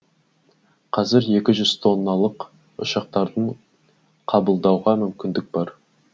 қазір екі жүз тонналық ұшақтарды қабылдауға мүмкіндік бар